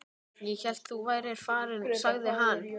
Ég hélt þú værir farinn sagði hann.